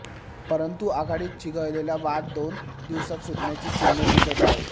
परंतु आघाडीत चिघळलेला वाद दोन दिवसांत सुटण्याची चिन्हे दिसत आहेत